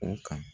O kan